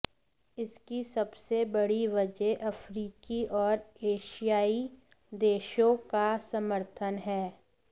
इसकी सबसे बड़ी वजह अफ्रीकी और एशियाई देशों का समर्थन है